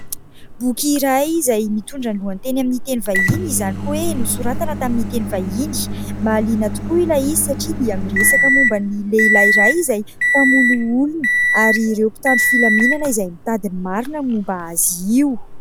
Boky iray izay mitondra ny lohateny amin'ny teny vahiny, izany hoe nosoratana tamin'ny teny vahiny. Mahaliana tokoa ilay izy satria dia miresaka momban'ny lehilahy iray izay mpamono olona ary ireo mpitandro filaminana izay mitady ny marina momba azy io.